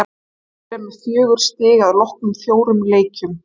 Víðir er með fjögur stig að loknum fjórum leikjum.